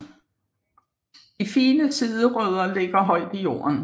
De fine siderødder ligger højt i jorden